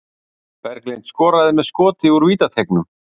Berglind skoraði með skoti úr vítateignum